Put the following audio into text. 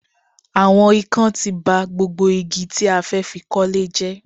Àwọn ikán ti ba gbogbo igi tí a fẹ́ fi kọ́lé jẹ́